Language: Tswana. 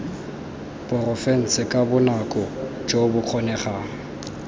porofense ka bonako jo bokgonegang